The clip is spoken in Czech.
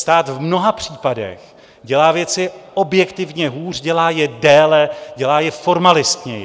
Stát v mnoha případech dělá věci objektivně hůř, dělá je déle, dělá je formalistněji.